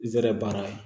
N zɛrɛ baara